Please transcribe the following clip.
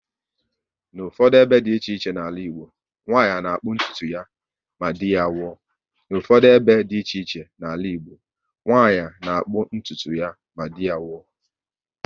N'ufodu ebe dị iche iche n'ala Igbo, nwanyị na-akpụ ntụtu ya ma dị ya nwuo